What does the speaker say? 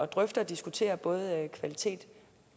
drøfte og diskutere både kvalitet